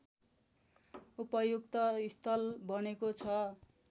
उपयुक्त स्थल बनेको छ